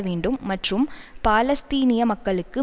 வேண்டும் மற்றும் பாலஸ்தீனிய மக்களுக்கு